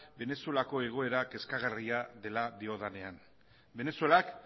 venezuelako egoera kezkagarria dela diodanean venezuelak